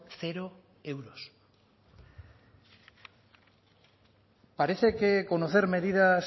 cero euros parece que conocer medidas